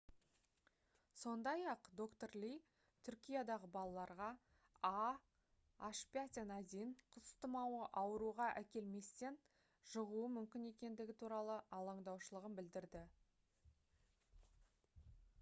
сондай-ақ д-р ли түркиядағы балаларға ah5n1 құс тұмауы ауруға әкелместен жұғуы мүмкін екендігі туралы алаңдаушылығын білдірді